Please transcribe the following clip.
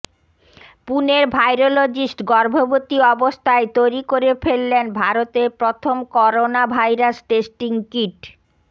পুনের virologist গর্ভবতী অবস্থায় তৈরি করে ফেললেন ভারতের প্রথম করোনা ভাইরাস টেস্টিং কিট